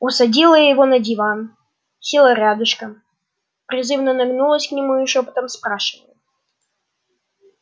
усадила его на диван села рядышком призывно нагнулась к нему и шёпотом спрашиваю